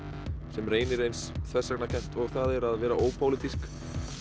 sem reynir eins þversagnakennt og það er að vera ópólitísk